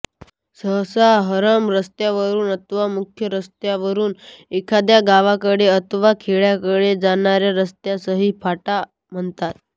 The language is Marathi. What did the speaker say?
सहसा हमरस्त्यावरुन अथवा मुख्य रस्त्यावरुन एखाद्या गावाकडे अथवा खेड्याकडे जाणाऱ्या रस्त्यासही फाटा म्हणतात